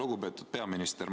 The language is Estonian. Lugupeetud peaminister!